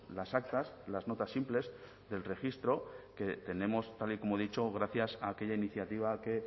las actas las notas simples del registro que tenemos tal y como he dicho gracias a aquella iniciativa que